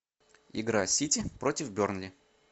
игра сити против бернли